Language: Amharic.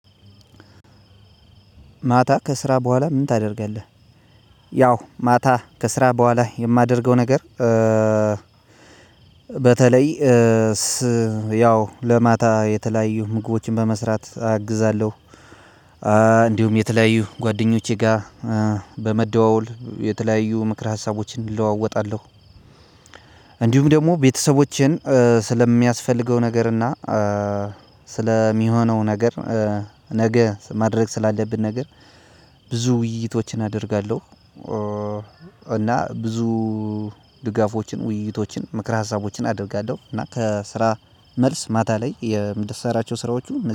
ማታ ከስራ በኋላ ምን ታደርጋለህ? ያው ማታ ከስራ በኋላ የማደርገው ነገር በተለይ ያው ለማታ የተለያዩ ምግቦችን በመስራት አግዛለሁ። እንዲሁም የተለያዩ ጓደኞቼ ጋር በመደዋወል የተለያዩ ምክረ ሀሳቦችን እለዋወጣለሁ። እንዲሁም ደግሞ ቤተሰቦቼን ስለሚያስፈልገው ነገር እና ስለሚሆነው ነገር ነገ ማድረግ ስላለብን ነገር ብዙ ውይይቶችን አደርጋለሁ። እና ብዙ ድጋፎችን ውይይቶችን ምክረ ሀሳቦችን አደርጋለሁ እና ከስራ መልስ ማታ ላይ የምሰራቸው ስራዎቹ